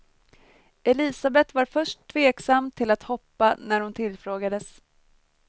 Elisabeth var först tveksam till att hoppa när hon tillfrågades.